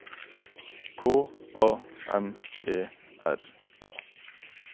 K A M E R A